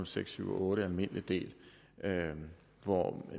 seks syv otte almindelig del hvor